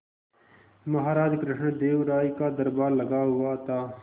महाराज कृष्णदेव राय का दरबार लगा हुआ था